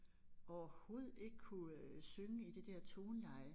Overhovedet ikke kunne øh synge i det der toneleje